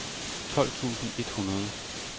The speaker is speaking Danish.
tolv tusind et hundrede